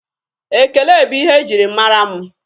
Ekele bụ ihe e jiri mara mụ.